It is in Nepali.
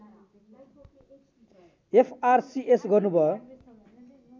एफआरसिएस् गर्नुभयो